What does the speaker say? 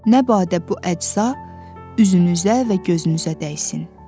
Nə badə bu əcza üzünüzə və gözünüzə dəysin.